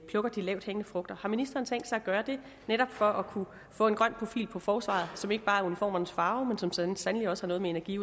plukker de lavthængende frugter har ministeren tænkt sig at gøre det netop for at kunne få en grøn profil på forsvaret som ikke bare er uniformernes farve men som så sandelig også har noget med energi